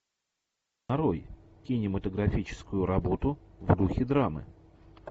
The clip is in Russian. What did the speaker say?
нарой кинематографическую работу в духе драмы